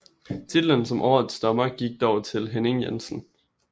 Titlen som årets dommer gik dog til Henning Jensen